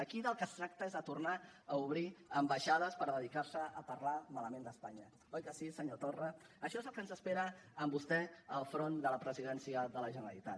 aquí del que es tracta és de tornar a obrir ambaixades per dedicar se a parlar malament d’espanya oi que sí senyor torra això és el que ens espera amb vostè al capdavant de la presidència de la generalitat